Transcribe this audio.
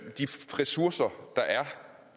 ressourcer der er